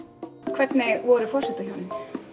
hvernig voru forsetahjónin